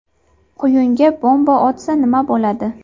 Quyunga bomba otsa nima bo‘ladi?.